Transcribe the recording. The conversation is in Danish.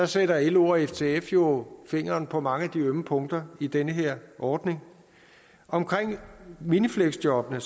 sætter lo og ftf jo fingeren på mange af de ømme punkter i den her ordning omkring minifleksjobbene